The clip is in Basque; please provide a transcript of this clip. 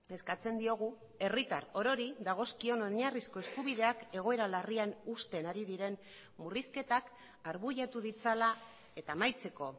eskatzen diogu herritar orori dagozkion oinarrizko eskubideak egoera larrian uzten ari diren murrizketak arbuiatu ditzala eta amaitzeko